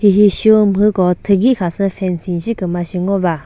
hi shi umhüko thühi kha fencing shi kümüzü shi ngo va.